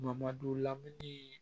Bamadu lamini